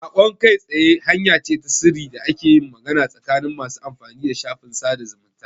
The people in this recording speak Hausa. Saƙon kai tsaye hanya ce ta sirri da ake yin magana tsakanin masu amfani da shafin sada zumunta.